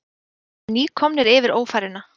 Þeir eru nýkomnir yfir Ófæruna.